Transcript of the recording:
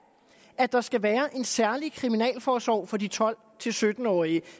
der skal være en særlig kriminalforsorg for de tolv til sytten årige